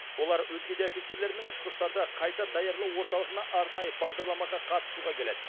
олар өзге де офицерлермен ұшқыштарды қайта даярлау орталығына арнайы бағдарламаға қатысуға келеді